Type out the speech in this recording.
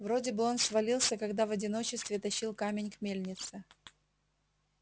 вроде бы он свалился когда в одиночестве тащил камень к мельнице